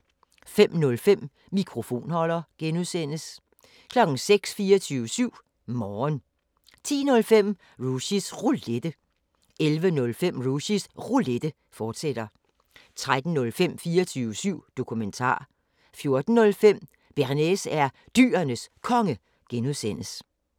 05:05: Mikrofonholder (G) 06:00: 24syv Morgen 10:05: Rushys Roulette 11:05: Rushys Roulette, fortsat 13:05: 24syv Dokumentar 14:05: Bearnaise er Dyrenes Konge (G)